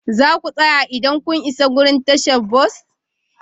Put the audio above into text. Za ku tsaya idan kun isa wurin tashar bas?